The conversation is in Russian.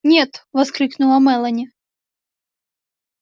нет воскликнула мелани